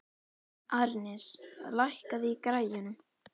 Arnes, lækkaðu í græjunum.